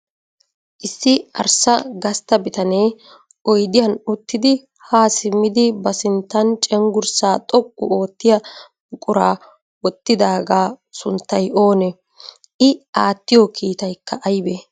Issi arssa gastta bitanee oyidiyan uttidi haa simmidi ba sinttan cenggurssaa xoqqu oottiya buquraa wottidaagaa sunttay oonee? I aattiyo kiitayikka ayibee?